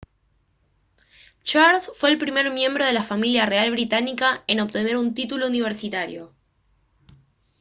charles fue el primer miembro de la familia real británica en obtener un título universitario